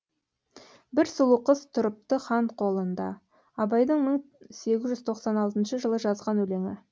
бір сұлу қыз тұрыпты хан қолында абайдың мың сегіз жүз тоқсан алтыншы жылы жазған өлеңі